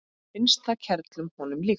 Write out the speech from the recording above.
Finnst það kerlu honum líkt.